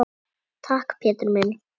Takk, Pétur minn.